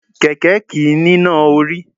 Kẹ̀kẹ́ kìí níná orí.